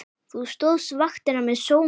Þú stóðst vaktina með sóma.